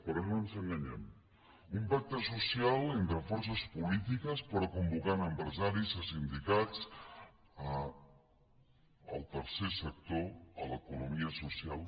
però no ens enganyem un pacte social entre forces polítiques però que convoqui empresaris sindicats el tercer sector l’economia social